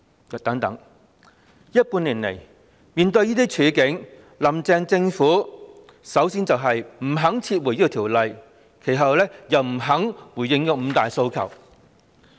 這半年來，面對這些處境，"林鄭"政府首先不肯撤回這項《條例草案》，然後又不肯回應"五大訴求"。